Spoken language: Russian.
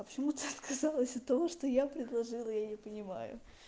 а почему ты сказала из-за того что я предложила я не понимаю